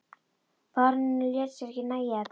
Baróninn lét sér ekki nægja þetta.